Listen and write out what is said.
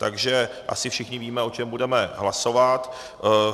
Takže asi všichni víme, o čem budeme hlasovat.